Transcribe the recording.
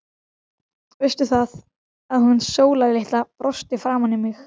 Veistu það, að hún Sóla litla brosti framan í mig.